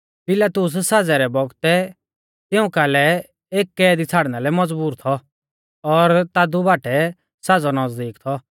पिलातुस साज़ै रै बौगतै तिऊं कालै एक कैदी छ़ाड़ना लै मज़बूर थौ और तादु बाटै साज़ौ नज़दीक थौ